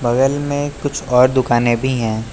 बगल में कुछ और दुकानें भी हैं।